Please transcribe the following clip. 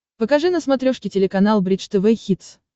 покажи на смотрешке телеканал бридж тв хитс